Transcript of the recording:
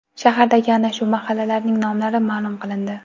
Shahardagi ana shu mahallalarning nomlari ma’lum qilindi .